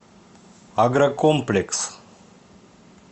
агрокомплекс